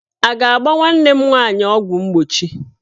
A ga-agba nwanne m nwaanyị ọgwụ mgbochi?